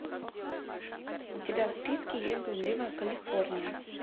у тебя в списке есть блудливая калифорния